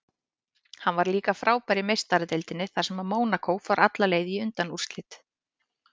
Hann var líka frábær í Meistaradeildinni þar sem Mónakó fór alla leið í undanúrslit.